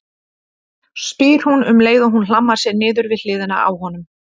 spyr hún um leið og hún hlammar sér niður við hliðina á honum.